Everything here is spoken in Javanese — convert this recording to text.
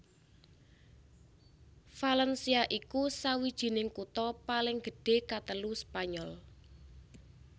Valencia iku sawijining kutha paling gedhé katelu Spanyol